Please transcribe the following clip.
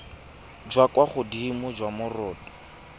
jwa kwa godimo jwa moroto